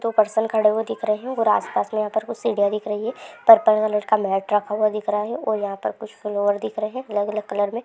तो पर्सन खड़े हुए दिख रहे हैं और आसपास में यहां पर कुछ सीढ़ियां दिख रही है पर्पल कलर का मैट रखा हुआ दिख रहा है यहाँ कुछ कलर दिख रहे है अलग- अलग कलर में--